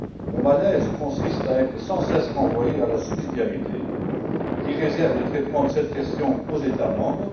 Mon malaise consiste à être sans cesse renvoyé à la subsidiarité, qui réserve le traitement de cette question aux États membres.